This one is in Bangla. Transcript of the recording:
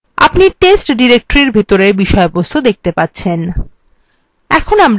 আপনি test directory বিষয়বস্তু দেখতে পাচ্ছেন